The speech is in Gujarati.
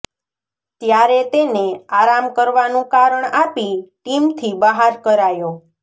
ત્યારે તેને આરામ કરવાનું કારણ આપી ટીમથી બહાર કરાયો